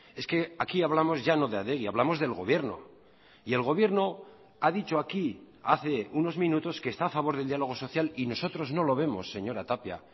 es que aquí hablamos ya no de adegi hablamos del gobierno y el gobierno ha dicho aquí hace unos minutos que está a favor del diálogo social y nosotros no lo vemos señora tapia